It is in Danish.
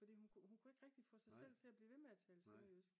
fordi hun kunne ikke rigtig få sig selv til at blive ved med at tale sønderjysk